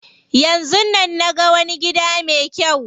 Yanzun nan naga wani gida me kyau.